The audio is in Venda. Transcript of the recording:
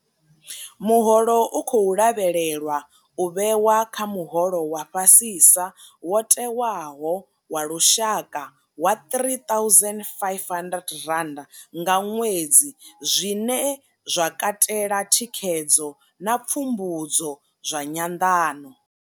Muholo u khou lavhelelwa u vhewa kha muholo wa fhasisa wo tewaho wa lushaka wa R3500 nga ṅwedzi, zwine zwa katela thikhedzo na pfumbudzo zwa nyanḓano.